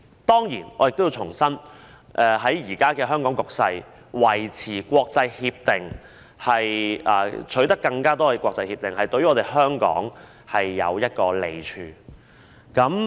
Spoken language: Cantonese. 當然，我要重申，在香港現時的局勢下，維持與國際間簽訂協定或取得更多國際協定對香港是有益處的。